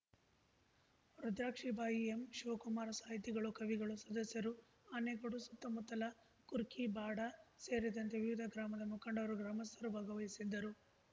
ರುದ್ರಾಕ್ಷಿ ಬಾಯಿ ಎಂಶಿವಕುಮಾರ ಸಾಹಿತಿಗಳು ಕವಿಗಳು ಸದಸ್ಯರು ಆನೆಗೋಡು ಸುತ್ತಮುತ್ತಲ ಕುರ್ಕಿ ಬಾಡ ಸೇರಿದಂತೆ ವಿವಿಧ ಗ್ರಾಮದ ಮುಖಂಡರು ಗ್ರಾಮಸ್ಥರು ಭಾಗವಹಿಸಿದ್ದರು